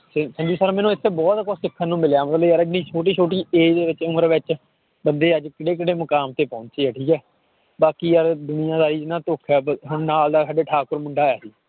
ਇੱਥੇ ਬਹੁਤ ਕੁਛ ਸਿੱਖਣ ਨੂੰ ਮਿਲਿਆ ਮਤਲਬ ਯਾਰ ਇੰਨੀ ਛੋਟੀ ਛੋਟੀ age ਵਿੱਚ ਉਮਰ ਵਿੱਚ ਬੰਦੇ ਅੱਜ ਕਿੱਡੇ ਕਿੱਡੇ ਮੁਕਾਮ ਤੇ ਪਹੁੰਚੇ ਹੈ ਠੀਕ ਹੈ ਬਾਕੀ ਯਾਰ ਦੁਨੀਆਂਦਾਰੀ 'ਚ ਨਾ ਹੁਣ ਨਾਲ ਦਾ ਸਾਡੇ ਠਾਕੁਰ ਮੁੰਡਾ ਆਇਆ ਸੀ